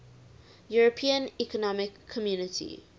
european economic community